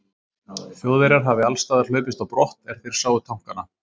Þjóðverjar hafi allsstaðar hlaupist á brott, er þeir sáu tankana.